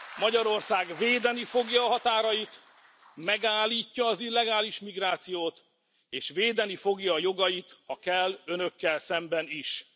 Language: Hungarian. Magyarország védeni fogja a határait, megállítja az illegális migrációt, és védeni fogja jogait, ha kell, Önökkel szemben is.